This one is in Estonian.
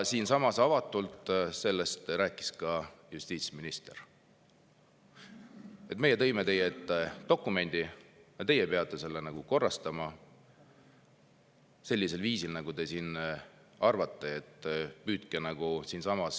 Siinsamas rääkis sellest avatult ka justiitsminister: "Meie tõime teie ette dokumendi ja teie peate selle korrastama sellisel viisil, nagu te arvate.